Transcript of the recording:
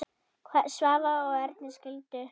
Svavar og Erna skildu.